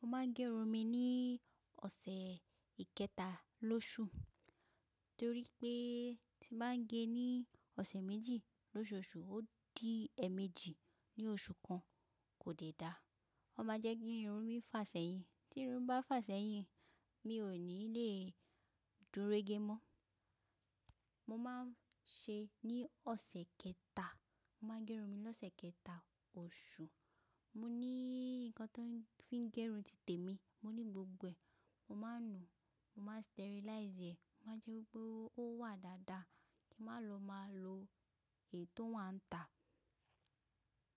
Mo máa ń gé irun mi ní ọ̀sẹ̀ ìkẹta lóṣù, torí pé tí mo bá gẹ ní ọ̀sẹ̀ méjì lóṣooṣù, ó di ẹ̀ẹ̀mẹ́jì ní oṣù kan, kò dẹ̀ dáa. Ó máa jẹ́ kí irun mi fà sẹ́yìn. Tí irun bá fà sẹ́yìn, mi ò ní lè dúró gé mọ́. Mo máa ń ṣe ní ọ̀sẹ̀ kẹta. Mo máa ń gé irun mi lọ́sẹ̀ kẹta oṣù. Mo ní nǹkan tó ń fi gẹrun ti tèmi, mo ní gbogbo ẹ̀. Mo máa ń nùú, mo máa ń sterilize ẹ̀. Mo máa ń jẹ́ wípé ó wà dáadáa kí mo lọ máa lo èyí tó wà ń ta.